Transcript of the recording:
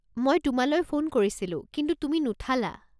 মই তোমালৈ ফোন কৰিছিলোঁ, কিন্তু তুমি নুঠালা।